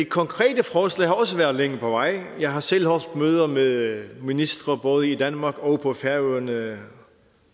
konkrete forslag har også været længe på vej jeg har selv holdt møder med ministre både i danmark og på færøerne